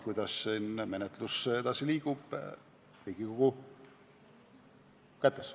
Kuidas menetlus edasi liigub, on Riigikogu kätes.